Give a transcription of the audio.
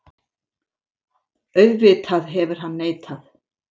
Auðvitað hefur hann neitað.